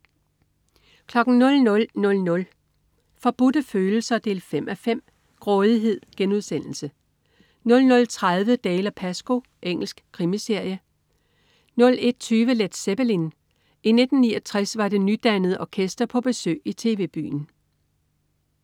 00.00 Forbudte Følelser 5:5. Grådighed* 00.30 Dalziel & Pascoe. Engelsk krimiserie 01.20 Led Zeppelin. I 1969 var det nydannede orkester på besøg i TV-Byen